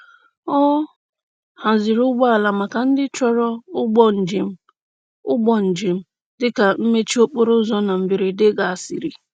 Ọ haziri ụgbọala maka ndị chọrọ ụgbọ njem ụgbọ njem dị ka mmechi okporoụzọ na mberede gasịrị.